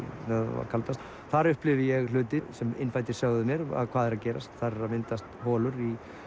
var kaldast þar upplifði ég hluti sem innfæddir sögðu mér hvað er að gerast þar eru að myndast holur